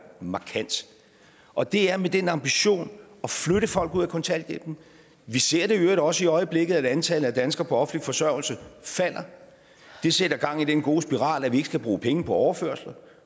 markant og det er med den ambition at flytte folk ud af kontanthjælpen vi ser i øvrigt også i øjeblikket at antallet af danskere på offentlig forsørgelse falder det sætter gang i den gode spiral at vi ikke skal bruge penge på overførsler